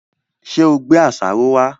Ṣé ò gbé àṣàrò wá?